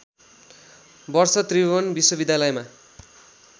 वर्ष त्रिभुवन विश्वविद्यालयमा